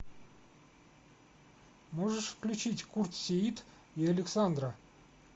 можешь включить курт сеит и александра